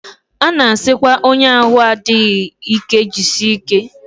A na-asịkwa onye ahụ adịghị ike jisie ike